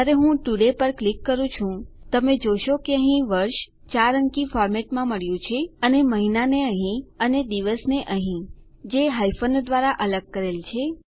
જયારે હું ટુડે પર ક્લિક કરું છું તમે જોશો કે અહીં વર્ષ 4 અંકી ફોર્મેટમાં મળ્યું છે અને મહિનાને અહીં અને દિવસને અહીં જે હાયફનો દ્વારા અલગ કરેલ છે